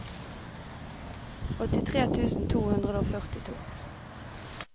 åttitre tusen to hundre og førtito